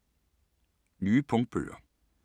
Nye punktbøger